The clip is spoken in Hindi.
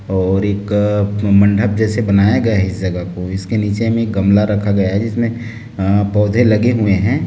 और एक मंडप जैसे जेसे बनाए गए हैं इस जगह को इसके नीचे मे एक गमला रखा है जिसमे अ पोधे लगे हुए है।